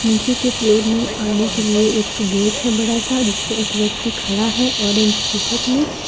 नीचे के फ्लोर में आने के लिए एक गेट है बड़ा सा जिसपे एक व्यक्ति खड़ा है ऑरेंज टी शर्ट में।